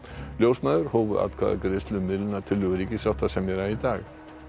ljósmæður hófu atkvæðagreiðslu um miðlunartillögu ríkissáttasemjara í dag